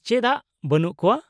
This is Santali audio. ᱼᱪᱮᱫᱟᱜ ᱵᱟᱹᱱᱩᱜ ᱠᱚᱣᱟ ?